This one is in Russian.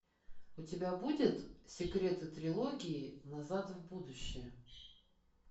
у тебя будет секреты трилогии назад в будущее